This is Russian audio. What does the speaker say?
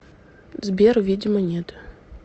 сбер видимо нет